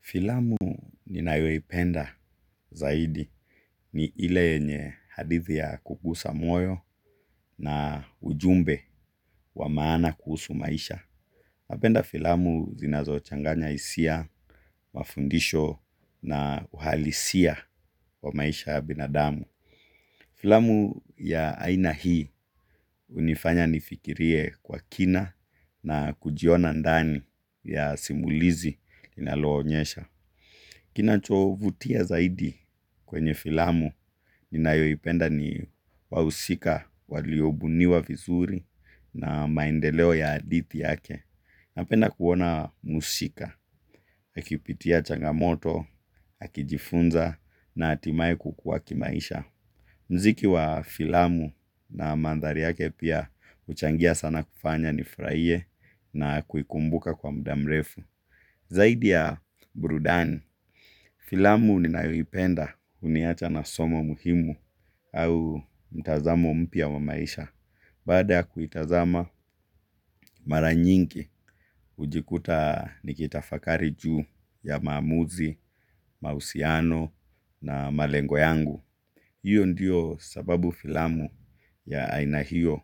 Filamu ninayoipenda zaidi ni ile yenye hadithi ya kugusa moyo na ujumbe wa maana kuhusu maisha. Napenda filamu zinazo changanya hisia, mafundisho na uhalisia wa maisha ya binadamu. Filamu ya aina hii hunifanya nifikirie kwa kina na kujiona ndani ya simulizi inalo onyesha. Kinachovutia zaidi kwenye filamu, ninayoipenda ni wahusika, waliobuniwa vizuri na maendeleo ya hadithi yake. Napenda kuona mhusika, akipitia changamoto, akijifunza na hatimae kukua kimaisha. Muziki wa filamu na maandhari yake pia huchangia sana kufanya nifurahie na kuikumbuka kwa muda mrefu. Zaidi ya burudani filamu ninayoipenda huniacha na somo muhimu au mtazamo mpya wa maisha. Baada ya kuitazama, mara nyingi hujikuta nikitafakari juu ya maamuzi, mahusiano na malengo yangu. Hiyo ndiyo sababu filamu ya aina hiyo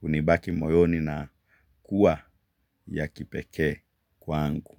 hunibaki moyoni na kuwa ya kipekee kwa angu.